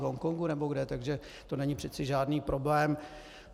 V Hongkongu nebo kde, takže to není přeci žádný problém.